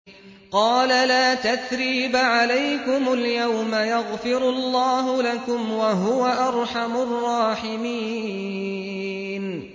قَالَ لَا تَثْرِيبَ عَلَيْكُمُ الْيَوْمَ ۖ يَغْفِرُ اللَّهُ لَكُمْ ۖ وَهُوَ أَرْحَمُ الرَّاحِمِينَ